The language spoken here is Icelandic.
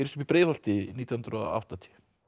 í Breiðholti nítján hundruð og áttatíu